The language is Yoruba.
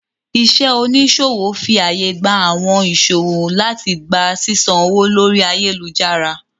Iṣẹ́ oníṣòwò fi àyè gba àwọn ìṣòwò láti gba sísan owó lórí ayélujára